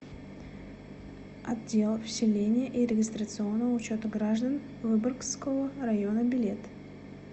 отдел вселения и регистрационного учета граждан выборгского района билет